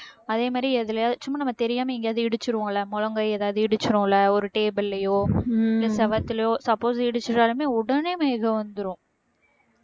அதே மாதிரி எதுலயாவது சும்மா நம்ம தெரியாம எங்கேயாவது இடிச்சிருவோம்ல முழங்கை ஏதாவது இடிச்சிருவோம்ல ஒரு table லயோ செவத்தலையோ suppose இடிச்சுட்டாலுமே உடனே மயக்கம் வந்திரும்